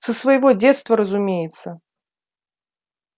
со своего детства разумеется